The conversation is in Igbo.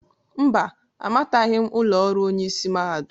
Mba, amataghị m ụlọ ọrụ Onye ịsị mahadum.